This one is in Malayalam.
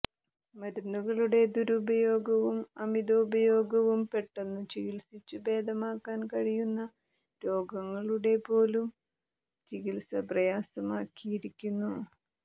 മരുന്നുകളുടെ ദുരുപയോഗവും അമിതോപയോഗവും പെട്ടെന്നു ചികിത്സിച്ചു ഭേദമാക്കാൻ കഴിയുന്ന രോഗങ്ങളുടെപോലും ചികിത്സ പ്രയാസമാക്കിയിരിക്കുന്നു